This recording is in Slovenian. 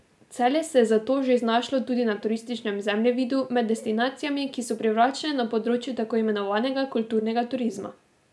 Celje se je zato že znašlo tudi na turističnem zemljevidu med destinacijami, ki so privlačne na področju tako imenovanega kulturnega turizma.